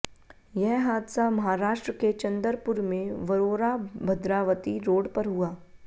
यह हादसा महाराष्ट्र के चंदरपुर में वरोराभद्रावती रोड पर हुआ